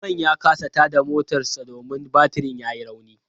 Mamman ya kasa tada motarsa ​​domin batirin yayi rauni.